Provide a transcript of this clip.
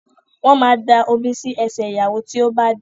Wọ́n ma da omi sí ẹsẹ̀ ìyàwó tí ó bá dé